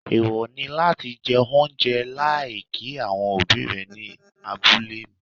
Èèwọ̀ ni láti jẹ oúnjẹ láì kí àwọn òbí rẹ ní abúlé mi.